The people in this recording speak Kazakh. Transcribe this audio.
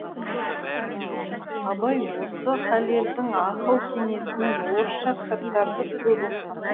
абай осы халелдің ақыл кеңесімен орысша кітаптарды көп оқыған